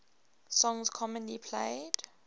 songs commonly played